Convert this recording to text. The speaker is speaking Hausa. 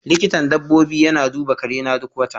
Likitan dabbobi yana duba karena duk wata.